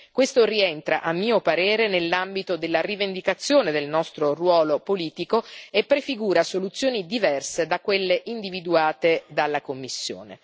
Questo rientra, a mio parere, nell'ambito della rivendicazione del nostro ruolo politico, e prefigura soluzioni diverse da quelle individuate dalla Commissione.